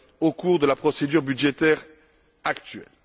au cours de la procédure budgétaire actuelle.